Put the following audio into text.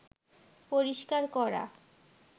পরিষ্কার করা